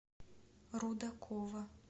рудакова